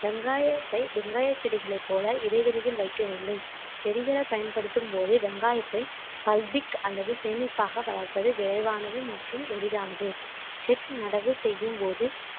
வெங்காயத்தை வெங்காய செடிகளைப் போல இடைவெளியில் வைக்க வேண்டும் செடிகளை பயன்படுத்தும் போதே வெங்காயத்தை pulpic அல்லது சேமிப்பாக வளர்ப்பது விரைவானது மற்றும் எளிதானது செக் நடவு செய்யும்போது